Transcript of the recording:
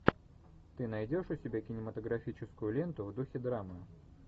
ты найдешь у себя кинематографическую ленту в духе драмы